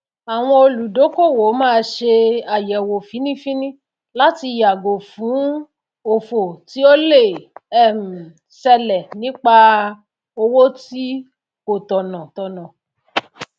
àwon olùdókòwò máá se àyèwò fíní fíní láti yàgò fún òfò tí o le um selè nípà òwò tí kò tònà tònà